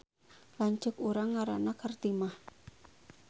Lanceuk urang ngaranna Kartimah